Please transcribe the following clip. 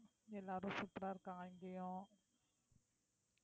எல்லாரும் super ஆ இருக்காங்க இங்கேயும்